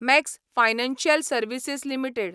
max Financial Services limited